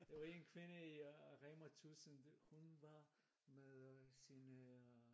Der var en kvinde i Rema1000 hun var med sin øh